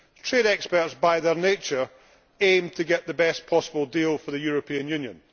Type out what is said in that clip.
Trade experts by their nature aim to get the best possible deal for the European Union.